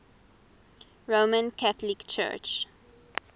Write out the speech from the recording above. roman catholic church